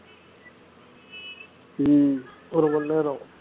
உம் ஒரு மணி நேரம்